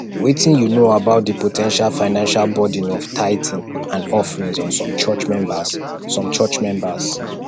wetin you know about di po ten tial financial burden of tithing and offerings on some church members some church members